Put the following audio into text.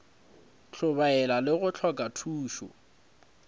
hlobaela le go hloka khutšo